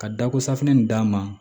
Ka dako safinɛ in d'a ma